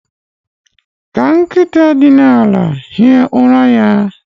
Ka nkịta na-ehi ụra ya